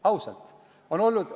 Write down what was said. Ausalt!